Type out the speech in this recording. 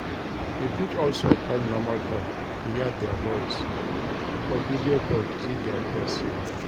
You fit also call normal call to hear their voice or video call to see their face